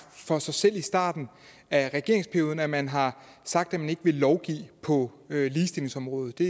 for sig selv i starten af regeringsperioden altså at man har sagt at man ikke vil lovgive på ligestillingsområdet det